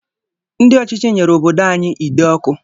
Ndị ọchịchị nyere obodo anyi ide ọkụ